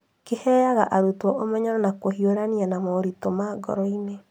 Kĩheaga arutwo umenyo wa kũhiũrania na moritũ ma ngoro-inĩ.